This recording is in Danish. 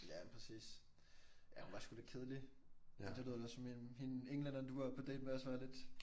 Ja men præcis. Ja hun var sgu lidt kedelig men det lyder lidt også som hende englænderen du var på date med også var lidt